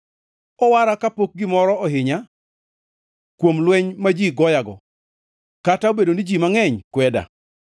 Owara kapok gimoro ohinya kuom lweny ma ji goyago, kata obedo ni ji mangʼeny kweda.